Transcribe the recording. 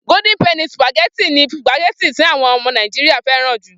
Gódín pẹnì sùpàgẹ́tì ni sùpàgẹ́tì tí àwon ọmọ Nàìjíríà fẹ́ràn jù.